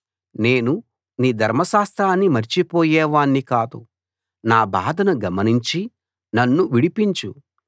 నేను నీ ధర్మశాస్త్రాన్ని మరిచిపోయేవాణ్ణి కాదు నా బాధను గమనించి నన్ను విడిపించు